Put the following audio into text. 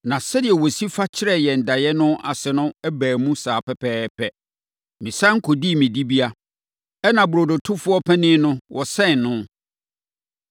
Na sɛdeɛ ɔsi fa kyerɛɛ yɛn daeɛ no ase no baa mu saa pɛpɛɛpɛ. Mesane kɔdii me dibea, ɛnna burodotofoɔ panin no, wɔsɛn no.”